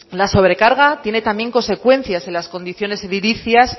la sobrecarga tiene también consecuencias en las condiciones edilicias